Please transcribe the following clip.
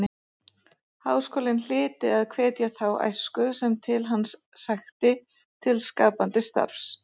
Háskólinn hlyti að hvetja þá æsku sem til hans sækti til skapandi starfs.